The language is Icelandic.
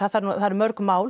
það eru mörg mál